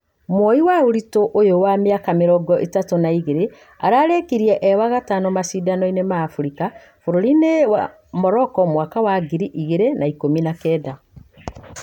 Muoyi ũrito ũyo wa miaka mirongo ĩtatũ na igĩrĩ ararekirie e wa gatano mashidano ĩnĩ ma africa furũri-ĩnĩ Morocco mwaka wa ngĩri igĩri na ikũmi na kenda